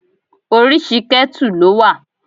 Oríṣi ketu ló wà.